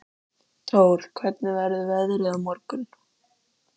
Tór, hvernig verður veðrið á morgun?